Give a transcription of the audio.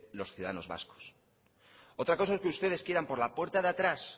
los ciudadanos vascos otra cosa es que ustedes quieran por la puerta de atrás